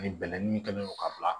Ani bɛlɛnin kɛlen don ka bila